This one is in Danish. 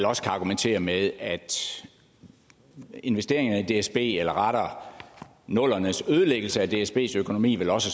også kan argumentere med at investeringerne i dsb eller rettere nullerne s ødelæggelse af dsbs økonomi vel også